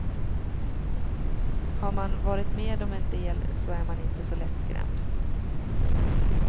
Har man varit med om en del så är man inte så lättskrämd.